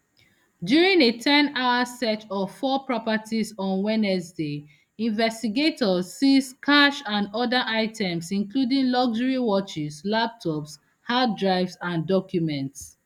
during a ten hour search of four properties on wednesday investigators seize cash and oda items including luxury watches laptops hard drives and documents